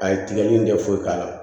A ye tigɛli in kɛ foyi k'a la